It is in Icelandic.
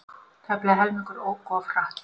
Tæplega helmingur ók of hratt